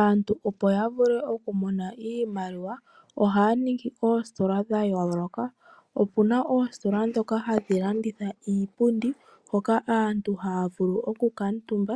Aantu opo yavule okumona iimaliwa ohaaningi ositola dhayooloka, opena oostola dhoka hadhilanditha iipu di hoka aantu hakaatumba,